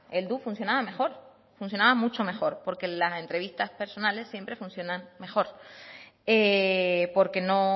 heldu funcionaba mejor funcionaba mucho mejor porque las entrevistas personales siempre funcionan mejor porque no